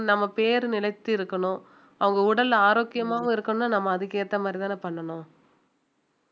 நம்ம பேரு நிலைத்து இருக்கணும் அவங்க உடல் ஆரோக்கியமாவும் இருக்கணும்னா நம்ம அதுக்கு ஏத்த மாதிரி தானே பண்ணணும்